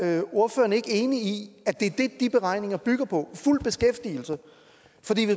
er ordføreren ikke enig i at det er det de beregninger bygger på fuld beskæftigelse